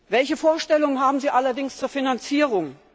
Welche Vorstellungen haben Sie allerdings zur Finanzierung?